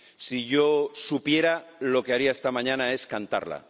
Si yo supiera, lo que haría esta mañana es cantarla.